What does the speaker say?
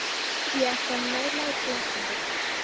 Ég ætla bara að næla í glas handa okkur.